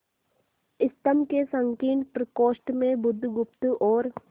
स्तंभ के संकीर्ण प्रकोष्ठ में बुधगुप्त और